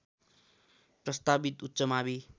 प्रस्तावित उच्च मावि